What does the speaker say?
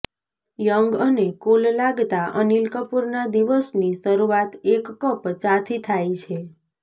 young અને cool લાગતા અનિલ કપૂરના દિવસની શરૂઆત એક કપ ચાથી થાય છે